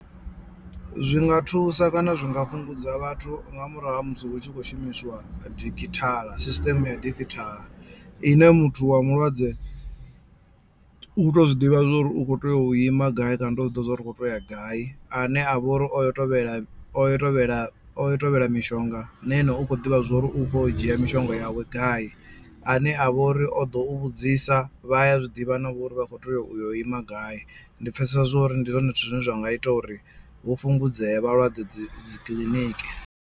Zwinga thusa kana zwi nga fhungudza vhathu nga murahu ha musi hu tshi khou shumisiwa digital system ya digital ine muthu wa mulwadze u to zwiḓivha zwo uri u kho tea u ima gai kana u to zwi ḓivha zwa uri u kho to ya gai ane a vha uri oyo tovhela oyo tovhela oyo tovhela mishonga na ane u khou ḓivha zwa uri u kho u dzhia mishonga yawe gai a ne a vha uri o ḓo u vhudzisa vhaya zwiḓivha navho uri vha kho tea u ima gai ndi pfhesesa zwa uri ndi zwone zwithu zwine zwa nga ita uri hu fhungudzee vhalwadze dzi dzi kiḽiniki.